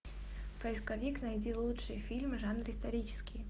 поисковик найди лучшие фильмы в жанре исторический